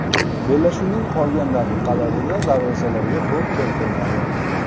Bellashuvning qolgan daqiqalarida darvozalarga to‘p kiritilmadi.